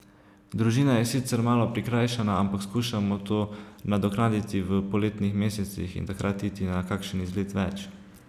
Družina je sicer malo prikrajšana, ampak skušamo to nadoknaditi v poletnih mesecih in takrat iti na kakšen izlet več.